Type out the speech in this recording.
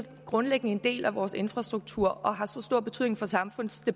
grundlæggende en del af vores infrastruktur og har så stor betydning for samfundet